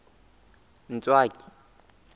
ntswaki